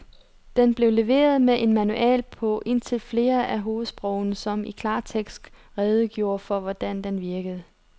Den blev leveret med en manual på indtil flere af hovedsprogene, som i klartekst redegjorde for, hvordan den virkede.